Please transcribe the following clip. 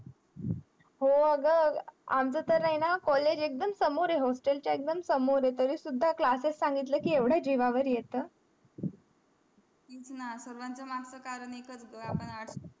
हो आगा आमचा तर आहे ना college एक्दम समोर आहे hostel च्या एक्दम समोर आहे तरी सुद्धा classes सांगितलं कि एव्हडा जीवावर येत तेच ना सर्वां च्या मग चा कारण एक याच होता आपण